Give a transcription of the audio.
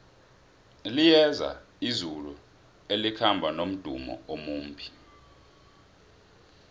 liyeza izulu elikhamba nomdumo omumbi